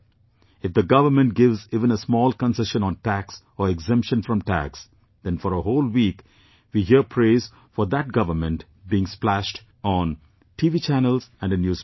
If the government gives even a small concession on tax or exemption from tax, then for a whole week we hear praise for that government being splashed on TV channels and in newspapers